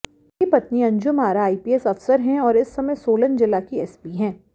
उनकी पत्नी अंजुम आरा आईपीएस अफसर हैं और इस समय सोलन जिला की एसपी हैं